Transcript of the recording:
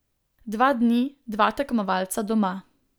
Dva dni, dva tekmovalca doma.